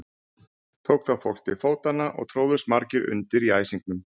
Tók þá fólk til fótanna og tróðust margir undir í æsingnum.